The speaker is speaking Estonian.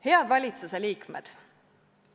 Head valitsuse liikmed!